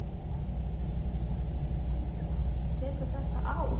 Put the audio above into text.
Lillý Valgerður: Tekur þetta á?